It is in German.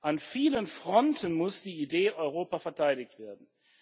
An vielen Fronten muss die Idee Europa verteidigt werden.